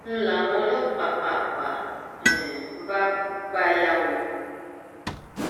ń láwọn ọlọpàá pàápàá um bá gbà yá wọn